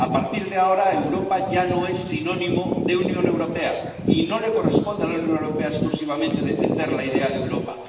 A partir de ahora, Europa ya no es sinónimo de Unión Europea y no le corresponde a la Unión Europea exclusivamente defender la idea de Europa.